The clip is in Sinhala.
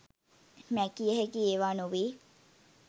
මැකිය හැකි ඒවා නොවේ